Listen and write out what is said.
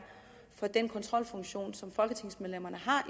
for den kontrolfunktion som folketingsmedlemmerne